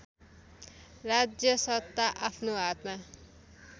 राज्यसत्ता आफ्नो हातमा